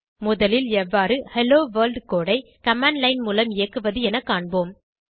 முதலில் எவ்வாறு hello world code ஐ கமாண்ட் லைன் மூலம் இயக்குவது என காண்போம்